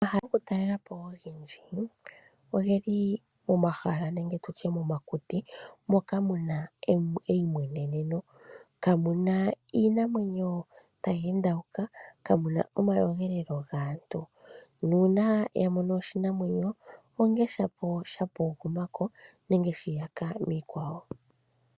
Omahala goku talelwapo ogendji ogeli momahala nenge tutye momakuti moka muna eyimweneneno . Kamuna iinamwenyo tayi endawuka ,kamuna omakudhilo gaantu nuuna wamono oshinamwenyo onge shapo sha pugumako nenge shi iyaka miikwawo.